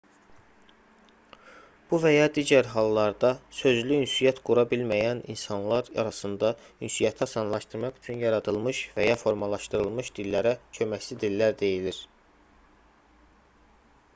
bu və ya digər hallarda sözlü ünsiyyət qura bilməyən insanlar arasında ünsiyyəti asanlaşdırmaq üçün yaradılmış və ya formalaşdırılmış dillərə köməkçi dillər deyilir